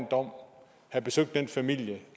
dom have besøgt familien